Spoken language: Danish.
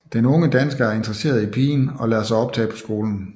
Den unge dansker er interesseret i pigen og lader sig optage på skolen